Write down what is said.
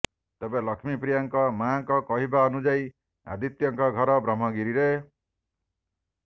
ତେବେ ଲକ୍ଷ୍ନୀପ୍ରିୟାଙ୍କ ମାଙ୍କ କହିବା ଅନୁଯାୟି ଆଦିତ୍ୟଙ୍କ ଘର ବ୍ରହ୍ମଗିରିରେ